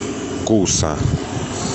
куса